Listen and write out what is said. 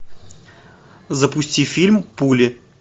запусти фильм пуля